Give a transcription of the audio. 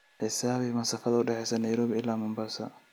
xisaabi masaafada u dhaxaysa nairobi ilaa mombasa